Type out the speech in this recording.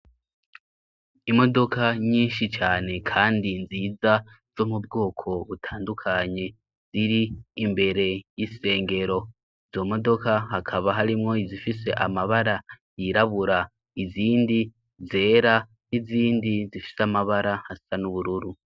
Imodoka nyinshi cane, kandi nziza zo mu bwoko butandukanyi ziri imbere y'isengero zo modoka hakaba harimwo izifise amabara yirabura izindi zera izindi zifise amabara hasa n'ubururu.